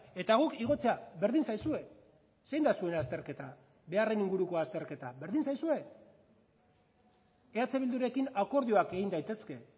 eta guk igotzea berdin zaizue zein da zuen azterketa beharren inguruko azterketa berdin zaizue eh bildurekin akordioak egin daitezke